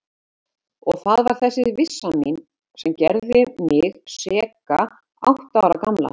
Og það var þessi vissa mín sem gerði mig seka átta ára gamla.